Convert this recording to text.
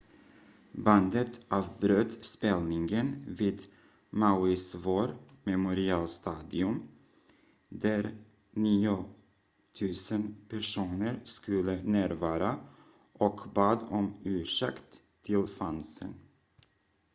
bandet avbröt spelningen vid mauis war memorial stadium där 9 000 personer skulle närvara och bad om ursäkt till fansen